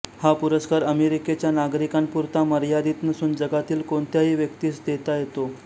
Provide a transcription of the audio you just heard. हा पुरस्कार अमेरिकेच्या नागरिकांपुरता मर्यादित नसून जगातील कोणत्याही व्यक्तीस देता येतो